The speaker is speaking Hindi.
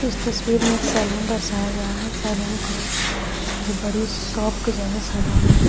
इस तस्वीर में एक सैलून दर्शाया गया है सैलून को जो बड़ी शॉप के जैसा सैलून है।